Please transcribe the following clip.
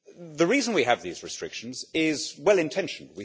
The reason we have these restrictions is well intentioned.